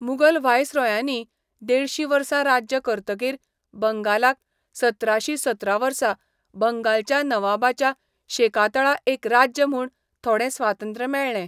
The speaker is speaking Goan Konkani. मुगल व्हायसरॉयांनी देडशीं वर्सां राज्य करतकीर बंगालाक सतराशीं सतरा वर्सा बंगालच्या नवाबाच्या शेकातळा एक राज्य म्हूण थोडें स्वातंत्र्य मेळ्ळें.